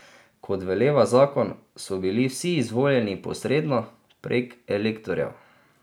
Kot veleva zakon, so bili vsi izvoljeni posredno, prek elektorjev.